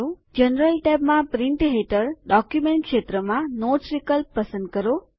general ટૅબમાં print હેઠળ document ક્ષેત્રમાં નોટ્સ વિકલ્પ પસંદ કરો